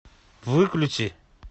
выключи